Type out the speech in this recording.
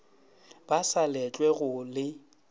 ba sa letlwe go le